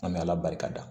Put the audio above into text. An bɛ ala barikada